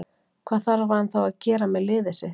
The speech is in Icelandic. Hvað þarf hann þá að gera með liðið sitt.